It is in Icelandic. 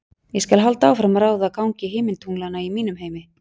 Ég skal halda áfram að ráða gangi himintunglanna í mínum heimi.